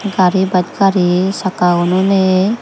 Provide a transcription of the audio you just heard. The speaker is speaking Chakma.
gari bus gari sakka unonei.